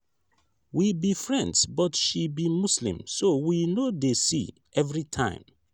we be friends but she be muslim so we no dey see every time